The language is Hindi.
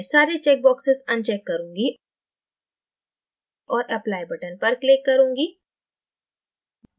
मैं सारे check boxes अनचेक करुँगी और applyबटन पर click करुँगी